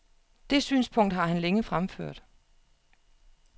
Det synspunkt har han længe fremført.